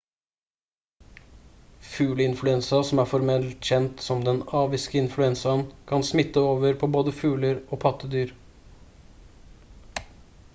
fugleinfluensa som er formelt kjent som den aviske influensaen kan smitte over på både fugler og pattedyr